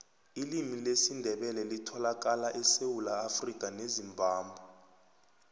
ilimi lesindebele litholakala esewula afrikha nezimbabwe